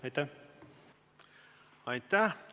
Aitäh!